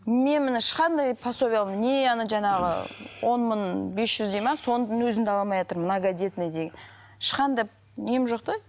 мен міне ешқандай пособия не ана жаңағы он мың бес жүз дейді ме соның өзін де ала алмайтырмын моногодетный деген ешқандай нем жоқ та